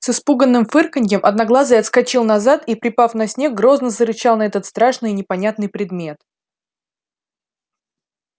с испуганным фырканьем одноглазый отскочил назад и припав на снег грозно зарычал на этот страшный и непонятный предмет